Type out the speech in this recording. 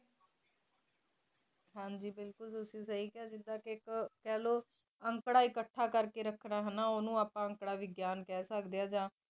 ਹਾਂਜੀ ਬਿਲਕੁਲ ਤੁਸੀ ਕਹਿ ਦਿੱਤਾ ਕ ਜੋ ਇਕ ਅੰਕੜਾ ਅੰਕੜਾ ਅਕਥ ਕਰ ਕ ਰੱਖਣਾ ਹੈ ਨਾ ਉਨਹੂ ਆਪ ਅੰਕੜਾ ਵਿਗਿਆਨ ਕਹਿ ਸਕਦੇ ਹੈ